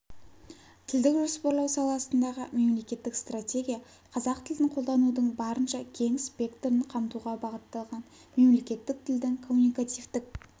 тілдік жоспарлау саласындағы мемлекеттік стратегия қазақ тілін қолданудың барынша кең спектрін қамтуға бағытталған мемлекеттік тілдің коммуникативтік